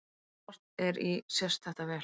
Þegar horft er í sést þetta vel.